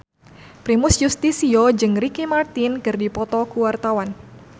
Primus Yustisio jeung Ricky Martin keur dipoto ku wartawan